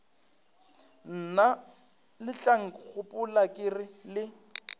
mna letlankgopola ke re le